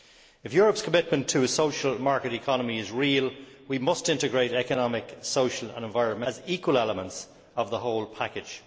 If Europe's commitment to a social market economy is real, we must integrate economic, social and environmental policies as equal elements of the whole package.